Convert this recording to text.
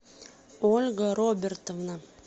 ольга робертовна